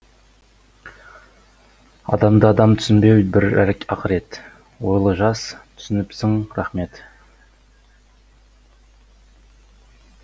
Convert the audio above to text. адамды адам түсінбеу бір ақырет ойлы жас түсініпсің рақмет